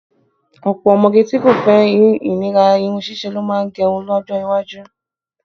Ọ̀pọ̀ ọmọge tí kò fẹ́ ìnira irun ṣíṣe lo má máa gẹrun lọ́jọ́ iwájú